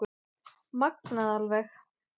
Magnað alveg